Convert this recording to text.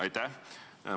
Aitäh!